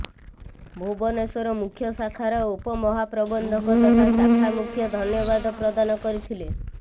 ଭୁବନେଶ୍ୱର ମୁଖ୍ୟ ଶାଖାର ଉପମହାପ୍ରବନ୍ଧକ ତଥା ଶାଖା ମୁଖ୍ୟ ଧନ୍ୟବାଦ ପ୍ରଦାନ କରିଥିଲେ